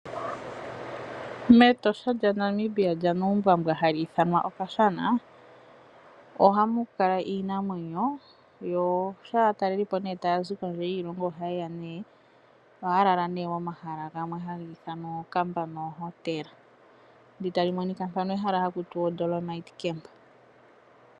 Metosha lya Namibia lyanuumbwambwa hali ithanwa okashana ohamu kala iinamwenyo. Shampa aatalelipo tayzi kondjele yiilongo oha yeya nee. Ohaya lala momahala gamwe haga ithanwa ookamba noohotela .